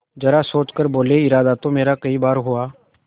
जरा सोच कर बोलेइरादा तो मेरा कई बार हुआ